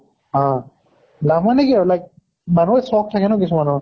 অহ মানে কি আৰু like মানিহৰ চʼখ থাকে ন কিছুমানৰ